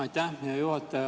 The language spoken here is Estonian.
Aitäh, hea juhataja!